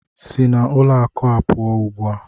Si na ụlọ akụ a pụọ ugbu a!